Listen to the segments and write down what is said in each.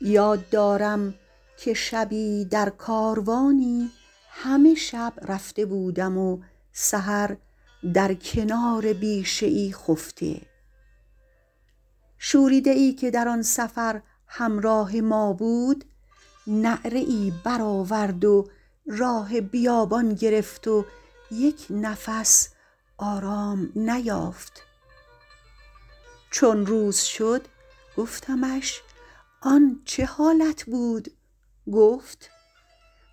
یاد دارم که شبی در کاروانی همه شب رفته بودم و سحر در کنار بیشه ای خفته شوریده ای که در آن سفر همراه ما بود نعره ای برآورد و راه بیابان گرفت و یک نفس آرام نیافت چون روز شد گفتمش آن چه حالت بود گفت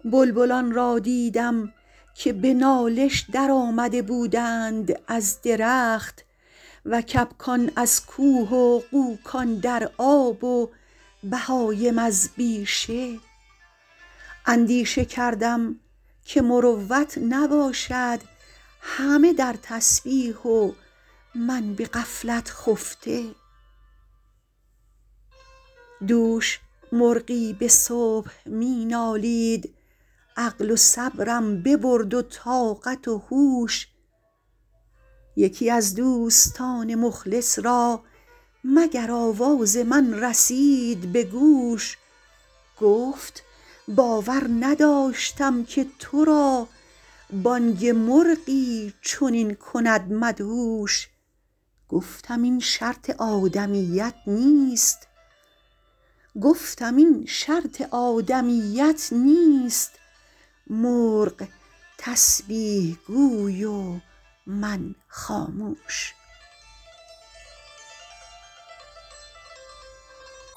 بلبلان را دیدم که به نالش در آمده بودند از درخت و کبکان از کوه و غوکان در آب و بهایم از بیشه اندیشه کردم که مروت نباشد همه در تسبیح و من به غفلت خفته دوش مرغی به صبح می نالید عقل و صبرم ببرد و طاقت و هوش یکی از دوستان مخلص را مگر آواز من رسید به گوش گفت باور نداشتم که تو را بانگ مرغی چنین کند مدهوش گفتم این شرط آدمیت نیست مرغ تسبیح گوی و من خاموش